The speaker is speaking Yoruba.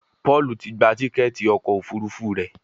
Paul tí gbà Tíkẹ́ẹ̀tì ọkọ̀ òfurufú rẹ.